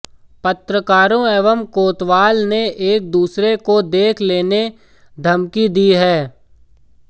पत्रकारों एवं कोतवाल ने एक दूसरे को देख लेने धमकी दी है